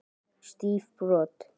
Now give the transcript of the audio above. Stíf brot.